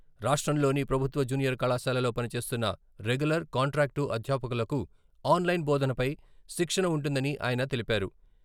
రాష్ట్రంలోని ప్రభుత్వ జూనియర్ కళాశాలలో పనిచేస్తున్న రెగ్యులర్, కాంట్రాక్టు అధ్యాపకులకు ఆన్లైన్ బోధనపై శిక్షణ ఉంటుందని ఆయన తెలిపారు.